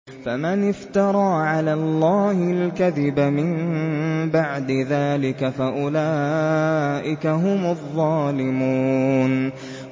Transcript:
فَمَنِ افْتَرَىٰ عَلَى اللَّهِ الْكَذِبَ مِن بَعْدِ ذَٰلِكَ فَأُولَٰئِكَ هُمُ الظَّالِمُونَ